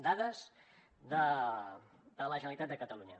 dades de la generalitat de catalunya